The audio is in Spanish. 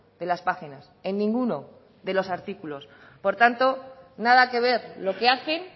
de las páginas en ninguno de los artículos por tanto nada que ver lo que hacen